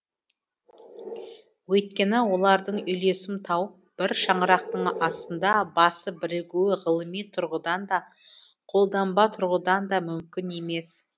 өйткені олардың үйлесім тауып бір шаңырақтың астында басы бірігуі ғылыми тұрғыдан да қолданба тұрғыдан да мүмкін емес